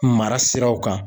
Mara siraw kan